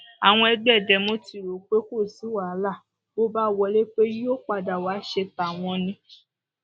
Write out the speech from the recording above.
àwọn ẹgbẹ demo ti rò pé kò sí wàhálà bó bá wọlé pé yóò padà wàá ṣe tàwọn ni